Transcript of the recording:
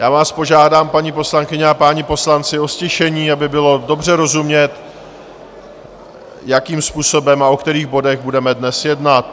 Já vás požádám, paní poslankyně a páni poslanci, o ztišení, aby bylo dobře rozumět, jakým způsobem a o kterých bodech budeme dnes jednat.